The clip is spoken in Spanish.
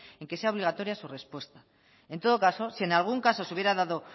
en que sea obligatoria su respuesta en todo caso si en algún caso se hubiera dado